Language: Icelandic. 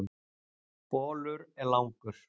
Bolur er langur.